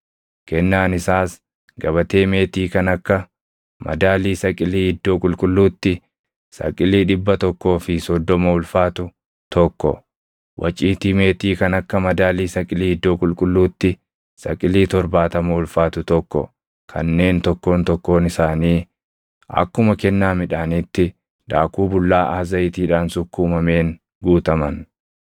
Kennaan isaas gabatee meetii kan akka madaalii saqilii iddoo qulqulluutti saqilii dhibba tokkoo fi soddoma ulfaatu tokko, waciitii meetii kan akka madaalii saqilii iddoo qulqulluutti saqilii torbaatama ulfaatu tokko kanneen tokkoon tokkoon isaanii akkuma kennaa midhaaniitti daakuu bullaaʼaa zayitiidhaan sukkuumameen guutaman,